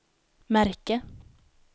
märke